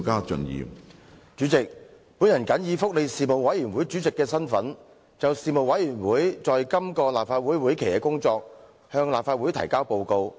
主席，我謹以福利事務委員會主席的身份，就事務委員會在今個立法會會期的工作向立法會提交報告。